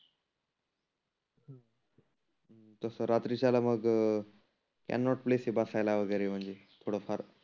तसं रात्रीच्याला मग कॅनॉट प्लेस आहे बसायला वगैरे म्हणजे थोड फार.